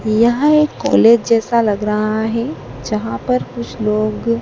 यह एक कॉलेज जैसा लग रहा है। जहां पर कुछ लोग--